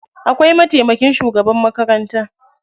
Akwai mataimakin shugaban makaranta.